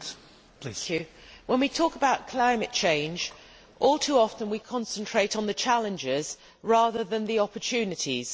Mr President, when we talk about climate change all too often we concentrate on the challenges rather than the opportunities.